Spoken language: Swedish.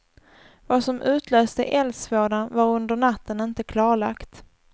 Vad som utlöste eldsvådan var under natten inte klarlagt.